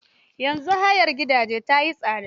Yanzu hayar gidaje ta yi tsada.